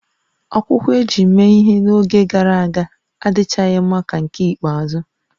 Akwụkwọ e ji mee ihe n'oge gara aga adịchaghị mma ka nke ikpeazụ